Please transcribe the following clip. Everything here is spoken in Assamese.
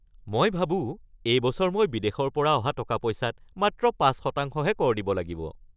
মই ভাবো এইবছৰ মই বিদেশৰ পৰা অহা টকা-পইচাত মাত্ৰ পাঁচ শতাংশহে কৰ দিব লাগিব।